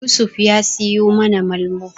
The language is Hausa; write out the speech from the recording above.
Yusuf ya suyi mana Malmo.